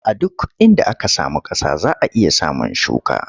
A duk inda aka samu ƙasa za a iya samun shuka.